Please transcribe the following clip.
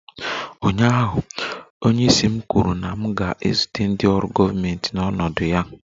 Ụnyaahụ, onyeisi m kwuru na m ga-ezute ndị ọrụ gọọmentị n'ọnọdụ ya!